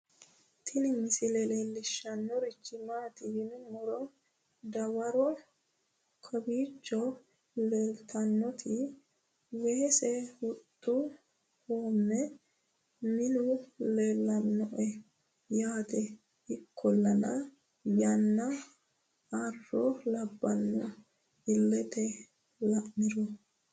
Tini misile leellishshannorichi maati yinummoro dawaro kowicho leeltannoeti weese huxxu hoomme minu leellannoe yaate ikkollana yanna arro labbanno illete la'niro